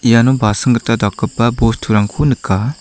iano basing gita dakgipa bosturangko nika.